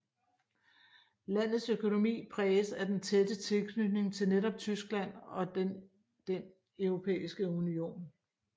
Landets økonomi præges af den tætte tilknytning til netop Tyskland og den Den Europæiske Union